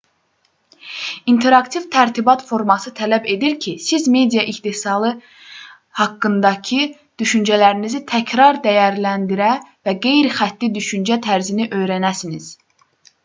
i̇nteraktiv tərtibat forması tələb edir ki siz media istehsalı haqqındakı düşüncələrinizi təkrar dəyərləndirə və qeyri-xətti düşüncə tərzini öyrənəsiniz